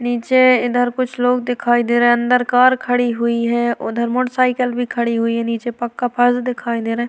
नीचे इधर कुछ लोग दिखाई दे रहे हैं अंदर कार खड़ी हुई है उधर मोटरसाईकिल भी खड़ी हुई है नीचे पक्का फर्श दिखाई दे रहा है।